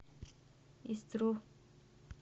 истру